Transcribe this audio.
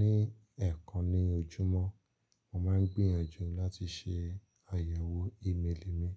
Ní ẹ̀ẹ̀kan ní ojúmọ́, mo máa ń gbìyànjú láti ṣe àyẹ̀wò ímélì mi